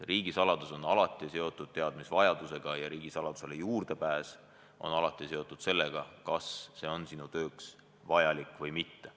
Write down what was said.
Riigisaladus on alati seotud teadmisvajadusega ja riigisaladusele juurdepääs on alati seotud sellega, kas see on sinu tööks vajalik või mitte.